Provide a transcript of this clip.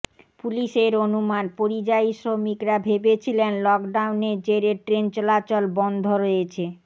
পুলিশের অনুমান পরিযায়ী শ্রমিকরা ভেবেছিলেন লকডাউনের জেরে ট্রেন চলাচল বন্ধ রয়েছে